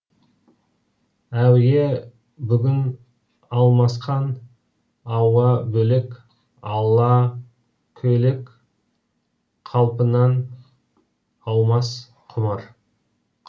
әуе бүгін алмасқан ауа бөлек ала көйлек қалпынан аумас құмар